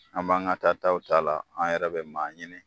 An b'an ka ta taw taa la, an yɛrɛ bɛ maa ɲini.